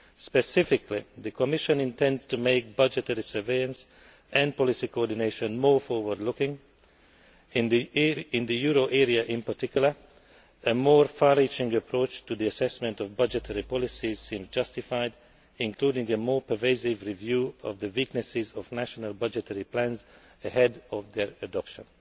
Specifically, the Commission intends to make budgetary surveillance and policy coordination more forward looking. In the euro area in particular, a more far reaching approach to the assessment of budgetary policies seems justified, including a more pervasive review of the weaknesses of national budgetary plans ahead of their adoption.